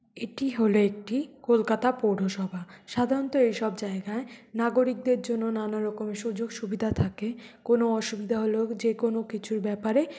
এটি হলো একটি কলকাতা পৌরসভা সাধারণত এইসব জায়গায় নাগরিকদের জন্য নানারকম সুযোগ-সুবিধা থাকে কোন অসুবিধা হলো যে কোন কিছুর ব্যাপারে --